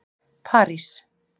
París